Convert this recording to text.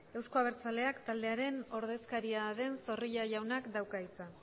euzko abertzaleak taldearen ordezkaria den zorrilla jaunak dauka hitza